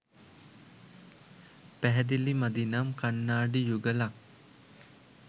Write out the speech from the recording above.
පැහැදිලි මදි නම් කන්නාඩි යුගලක්